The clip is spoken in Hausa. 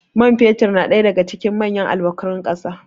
man fetur na daga cikin manyan albkarun kasa